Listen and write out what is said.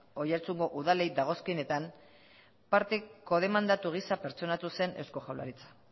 oiartzungo udalei dagozkienetan parte demandatu gisa pertsonatu zen eusko jaurlaritza